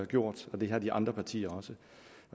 gjort det har de andre partier også